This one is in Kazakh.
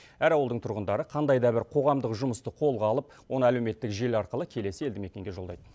әр ауылдың тұрғындары қандай да бір қоғамдық жұмысты қолға алып оны әлеуметтік желі арқылы келесі елді мекенге жолдайды